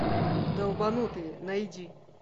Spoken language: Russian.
долбанутые найди